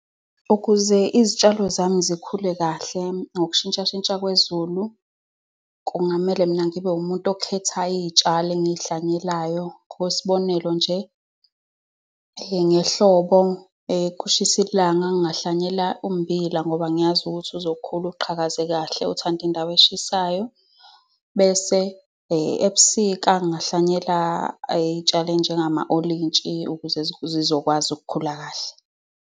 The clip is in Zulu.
Ukuze izitshalo zami zikhule kahle nokushintshashintsha kwezulu, kungamele mina ngibe umuntu okhethayo iy'tshalo engihlwanyelayo. Ngokwesibonelo nje, ngehlobo, kushisa ilanga, ngihlwanyela ummbila ngoba ngiyazi ukuthi uzokhula uqhakaze kahle. Uthanda indawo eshisayo. Bese ebusika, ngihlwanyela iy'tshalo ey'njengamawolintshi ukuze zizokwazi ukukhula kahle.